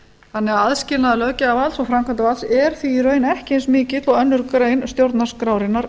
þannig að aðskilnaður löggjafarvalds og framkvæmdarvalds er því í raun ekki eins mikilinn og aðra grein stjórnarskrárinnar